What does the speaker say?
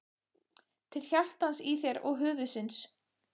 Til hjartans í þér og höfuðsins.